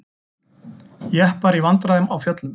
Jeppar í vandræðum á fjöllum